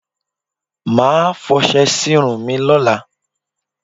Màá fọṣe sírun mi lólàa